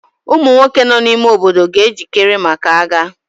Ụmụ nwoke nọ n'ime obodo ga-ejikere maka agha.